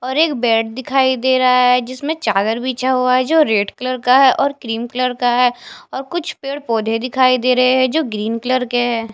और एक बेड दिखाई दे रहा है जिसमें चादर बिछा हुआ है जो रेड कलर का है और क्रीम कलर का है और कुछ पेड़ पौधे दिखाई दे रहे हैं जो ग्रीन कलर के है।